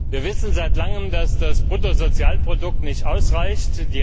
Wir wissen seit langem, dass das Bruttosozialprodukt nicht ausreicht.